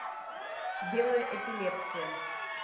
белая эпилепсия